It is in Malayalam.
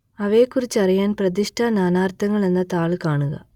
അവയെക്കുറിച്ചറിയാൻ പ്രതിഷ്ഠ നാനാർത്ഥങ്ങൾ എന്ന താൾ കാണുക